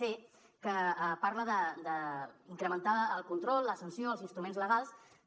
c que parla d’ incrementar el control la sanció els instruments legals que